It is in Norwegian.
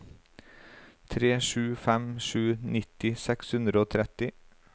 tre sju fem sju nitti seks hundre og tretti